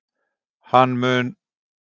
Hann mun